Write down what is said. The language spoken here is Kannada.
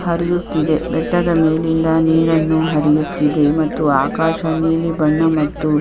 ಹರಿಯುತಿದೆ ಬೆಟ್ಟದ ಮೇಲೆ ಇಂದ ನೀರನ್ನು ಹರಿಯುತಿದೆ ಆಕಾಶ ನೀಲಿ ಬಣ್ಣ ಮತ್ತು--